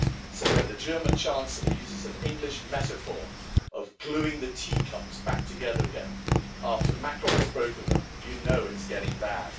So when the German chancellor uses an English metaphor of gluing the tea cups back together again after Macron has broken them, you know it's getting bad.